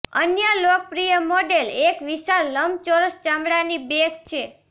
અન્ય લોકપ્રિય મોડેલ એક વિશાળ લંબચોરસ ચામડાની બેગ છે